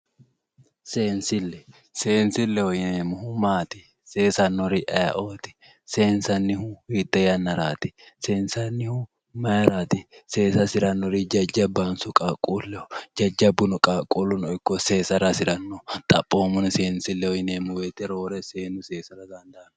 Seensilleho yineemmohu maati seesannori ayeeooti seensannihu hiittee yannaraati seensannihu mayiiraati seesa hasirannori jajjabbahonso qaaqquulleho jajjabbuno qaaquulluno ikko seesara hasiranno xaphoomunni seensilleho yineemmo woyiite roore seennu seesara dandaanno